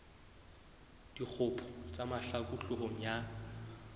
dikgopo tsa mahlaku hloohong ya